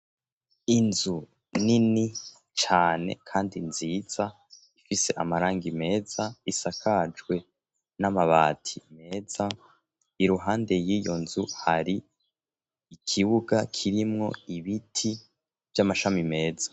Inzu nini cane kandi nziza ifise amarangi meza isakajwe n'amabati meza iruhande y'iyo nzu hari ikibuga kirimwo ibiti by'amashami meza.